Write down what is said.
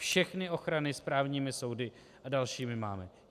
Všechny ochrany správními soudy a dalšími máme.